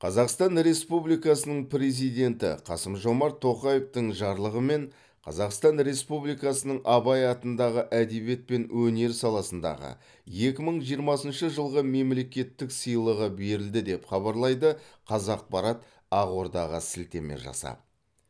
қазақстан республикасының президенті қасым жомарт тоқаевтың жарлығымен қазақстан республикасының абай атындағы әдебиет пен өнер саласындағы екі мың жиырмасыншы жылғы мемлекеттік сыйлығы берілді деп хабарлайды қазақпарат ақордаға сілтеме жасап